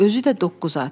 Özü də doqquz at.